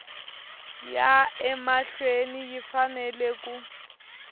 ya emahlweni yi fanele ku